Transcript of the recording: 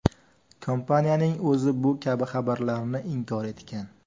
Kompaniyaning o‘zi bu kabi xabarlarni inkor etgan.